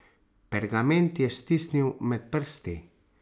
Pergament je stisnil med prsti.